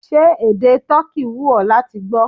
Ṣé èdè toki wù ó láti gbó?